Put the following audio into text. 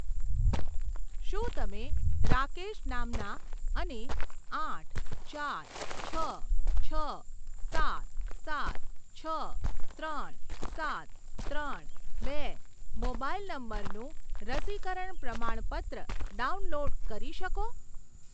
શું તમે રાકેશ નામના અને આઠ ચાર છ છ સાત સાત છ ત્રણ સાત ત્રણ બે મોબાઈલ નંબરનું રસીકરણ પ્રમાણપત્ર ડાઉનલોડ કરી શકો?